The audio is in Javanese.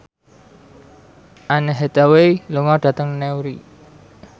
Anne Hathaway lunga dhateng Newry